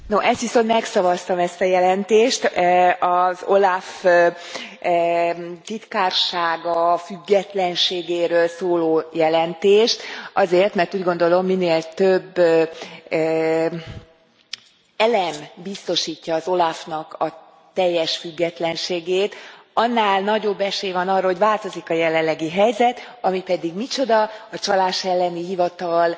Elnök Asszony, no, ezt viszont megszavaztam, ezt a jelentést, az OLAF titkársága függetlenségéről szóló jelentést. Azért, mert úgy gondolom, minél több elem biztosítja az OLAF nak a teljes függetlenségét, annál nagyobb esély van arra, hogy változik a jelenlegi helyzet, ami pedig micsoda a csalás elleni hivatal